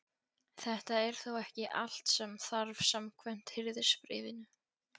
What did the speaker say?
Þetta er þó ekki allt sem þarf samkvæmt Hirðisbréfinu.